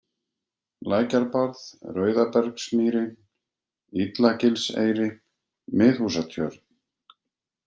Lækjarbarð, Rauðabergsmýri, Illagilseyri, Miðhúsatjörn